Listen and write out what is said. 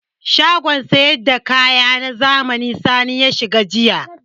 Shagon sayar da kaya na zamani Sani ya shiga jiya.